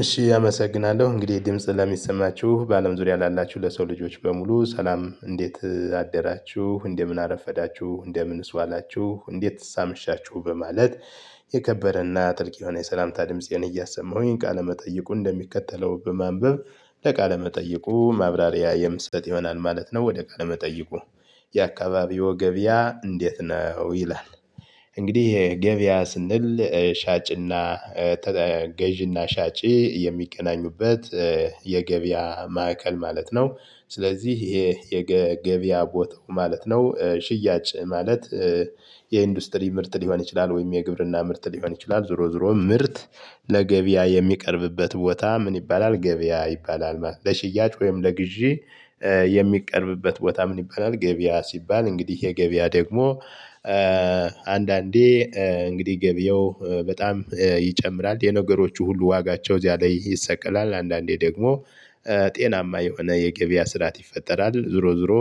እሺ አመሰግናለሁ እንግዲህ ድምጽ ለሚሰማችሁ በአለም ዙሪያ ላላችሁ ለሰው ልጆች በሙሉ ሰላም እንዴት አደራችሁ እንደምን አረፈዳችሁ እንደምንስ ዋላችሁ እንዴትስ አመሻችሁ በማለት። የከበረና ጥልቅ የሆነ የሰላምታ ድምጽዬን እያሰማሁኝ ቃለመጠየቁ እንደሚከተለው በማንበብ ለቃለ መጠይቁ ማብራሪያ የምሰጥ ይሆናል ማለት ነው። ወደ ቃለ መጠይቁ የአካባቢዎ ገብያ እንዴት ነው ይላል? እንግዲህ ገበያ ስንል ገዥና ሻጪ የሚገናኙበት የገበያ ማዕከል ማለት ነው። ስለዚህ ይሄ የገበያ ቦታው ማለት ነው ሽያጭ ማለት። የኢንዱስትሪ ምርት ሊሆን ይችላል ወይም የግብርና ምርት ሊሆን ይችላል ዞሮ ዞሮ ምርት። ለገበያ የሚቀርብበት ቦታ ምን ይባላል ገበያ ይባላል ማለት ነው። ለሽያጭ ወይም ለግዢ የሚቀርብበት ቦታ ምን ይባላል ገበያ ሲባል እንግዲህ የገበያ ደግሞ። አንዳንዴ እንግዲህ ገበያው በጣም ይጨምራል የነገሮቹ ሁሉ ዋጋቸው እዚያ ላይ ይሰቀላል። አንዳንዴ ደግሞ ጤናማ የሆነ የገበያ ስርዓት ይፈጠራል። ዞሮ ዞሮ